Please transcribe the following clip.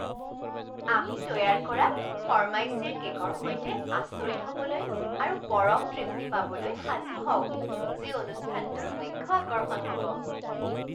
আমি তৈয়াৰ কৰা ফৰ্মাইচীৰ কে'কৰ সৈতে আচৰিত হ'বলৈ আৰু পৰম তৃপ্তি পাবলৈ সাজু হওক যি অনুষ্ঠানটোৰ মুখ্য আকৰ্ষণ হ'ব।